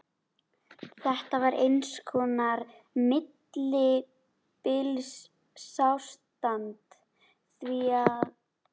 Þetta var eins konar millibilsástand, því að